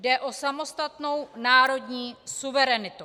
Jde o samostatnou národní suverenitu.